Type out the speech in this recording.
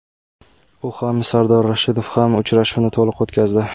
U ham, Sardor Rashidov ham uchrashuvni to‘liq o‘tkazdi.